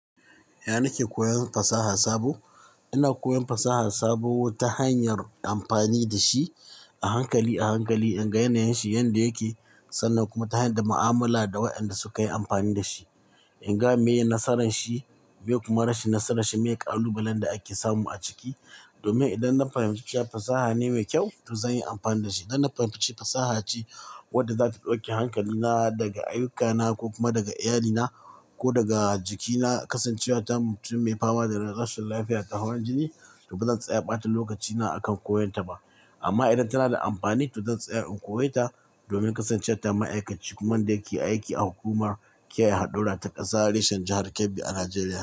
Ya na nike koyan fasaha sabo? Ina na koyan fasaha sabo ta hanyar amfani da shi a hankali a hankali, in ga yanayin shi yanda yake, sannan kuma ta hanyar mu'amala da wayanda suka yi amfani da shi. In ga meye nasaran shi, me kuma rashin nasaran shi, me kalubalen da ake samu a ciki. Domin idan na fahimci cewa fasaha ne mai kyau, to zan yi amfani da shi. Idan na fahimci fasaha ce wadda zata ɗauke hankalina daga ayyukana ko kuma daga iyalina ko daga jikina, kasancewa ta mutum mai fama da rashin lafiya ta hawan jini, to ba zan tsaya ɓata lokacina a kan koyon ta ba. Amma idan tana da amfani, to zan tsaya in koyi ta domin kasancewa ta ma'aikaci kuma da yake aiki a hukumar kiyaye hadura ta ƙasa reshen jahar Kebbi a Najeriya.